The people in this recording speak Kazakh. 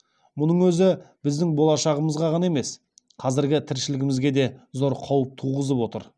мұның өзі біздің болашағымызға ғана емес қазіргі тіршілігімізге де зор қауіп туғызып отыр